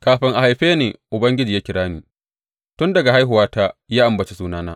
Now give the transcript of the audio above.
Kafin a haife Ni Ubangiji ya kira ni; tun daga haihuwata ya ambaci sunana.